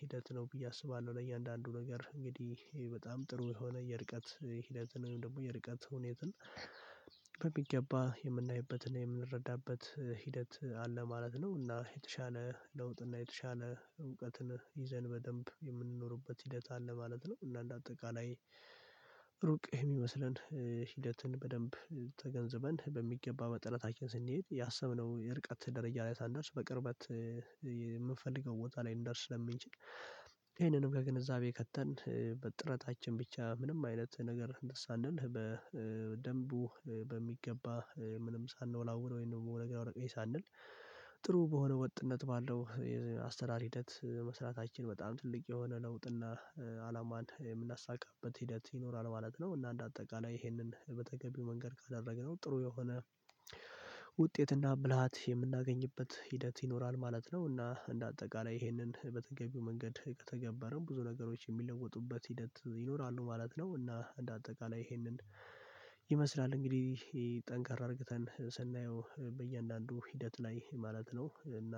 ሂደት ነው ብዬ አስባለሁ ለእያንዳንዱ ነገር እንግዲህ በጣም ጥሩ የሆነ የርቀት ሂደት ወይም ደግሞ የርቀት ሁኔትን በሚገባ የምናይበትን የምንረዳበት ሂደት አለ ማለት ነው። እና የተሻለ ለውጥና የተሻለ እውቀትን ይዘን በደንብ የምንኖርበት ሂደት አለ ማለት ነው። እና እንደ አጠቃላይ ሩቅ የሚመስለን ሂደትን በደንብ ተገንዝበን በሚገባ መጠናታችን ስንሄድ ያሰብነው የርቀት ደረጃ ላይ ሳንደርስ በቅርበት የምንፈልገው ቦታ ላይ ልንደርስ ስለምንችል ይሄንንም ከግንዛቤ ከተን በጥረታችን ብቻ ምንም አይነት ነገር እንትን ሳንል በደንቡ በሚገባ ምንም ሳንወላውል ወይም ደግሞ ወደ ግራ ወደ ቀኝ ሳንል ጥሩ በሆነ ወጥነት ባለው የአሰራር ሂደት መስራታችን በጣም ትልቅ የሆነ ለውጥና አላማን የምናሳካበት ሂደት ይኖራል ማለት ነው። እና እንደ አጠቃላይ ይህንን በተገቢው መንገድ ካደረግነው ጥሩ የሆነ ውጤትና ብልሃት የምናገኝበት ሂደት ይኖራል ማለት ነው። እና እንደ አጠቃላይ ይህንን በተገቢው መንገድ ከተገበርን ብዙ ነገሮች የሚለወጡበት ሂደት ይኖራሉ ማለት ነው። እና እንደ አጠቃላይ ይሄንን ይመስላል እንግዲህ ጠንካራ አድርገን ስናየው በእያንዳንዱ ሂደት ላይ ማለት ነው እና